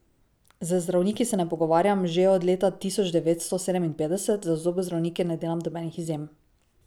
Z zdravniki se ne pogovarjam že od leta tisoč devet sto sedeminpetdeset, za zobozdravnike ne delam nobenih izjem.